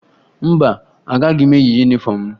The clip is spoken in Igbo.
Mba, agaghị m eyi yunifọmụ m